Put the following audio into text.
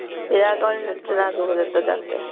ਵਿਆਹ ਕੋਈ ਨੀ ਨੱਚਣਾ ਰੱਖ ਕੇ